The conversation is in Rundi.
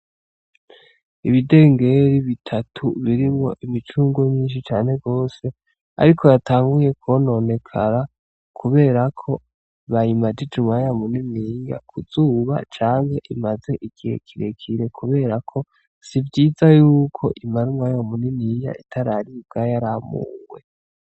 Ibidengeri bitatu birimwo imicungwe myinshi cane gose ariko yatanguye kwononekara kubera ko bayimajije umwanya muniniya ku zuba canke imaze igihe kirere, kubera ko sivyiza y'uko imara umwanya muniniya itararibwa yaramuwe.